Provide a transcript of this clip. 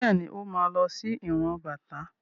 Bẹ́ẹ̀ni, Ó ma lọ sí ìran bàtá.